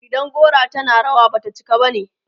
idan gora tana rawa, Bata cika bane